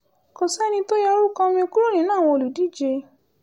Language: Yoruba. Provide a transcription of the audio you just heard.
kò sẹ́ni tó yọ orúkọ mi kúrò nínú àwọn olùdíje